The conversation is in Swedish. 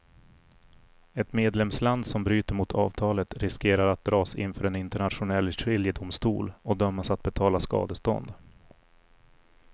Ett medlemsland som bryter mot avtalet riskerar att dras inför en internationell skiljedomstol och dömas att betala skadestånd.